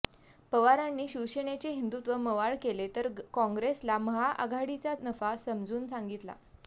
पवारांनी शिवसेनेेचे हिंदुत्व मवाळ केले तर काँग्रेसला महाआघाडीचा नफा समजून सांगितला